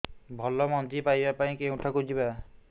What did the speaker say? ଭଲ ମଞ୍ଜି ପାଇବା ପାଇଁ କେଉଁଠାକୁ ଯିବା